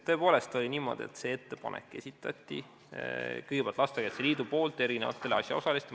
Tõepoolest oli niimoodi, et see ettepanek esitati kõigepealt Lastekaitse Liidu poolt eri asjaosalistele.